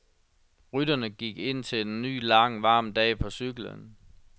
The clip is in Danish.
Rytterne gik indtil en ny lang, varm dag på cyklen.